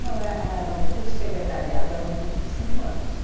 Não eh, era um curso de secretariado, era um curso de cinco anos.